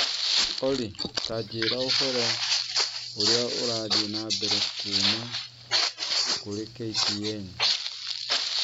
Olly, ta njĩĩra ũhoro ũrĩa ũrathiĩ na mbere kuuma kũrĩ k. t. n.